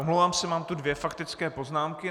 Omlouvám se, mám tu dvě faktické poznámky.